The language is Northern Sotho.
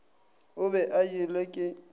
o be a jelwe ke